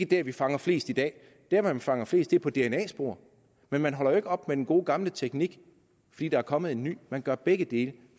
der vi fanger flest i dag der hvor vi fanger flest er på dna spor men man holder jo ikke op med den gode gamle teknik fordi der er kommet en ny man gør begge dele